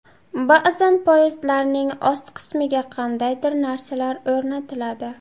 Ba’zan poyezdlarning ost qismiga qandaydir narsalar o‘rnatiladi.